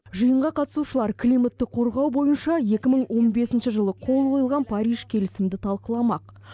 жиынға қатысушылар климатты қорғау бойынша екі мың он бесінші жылы қол қойылған париж келісімді талқыламақ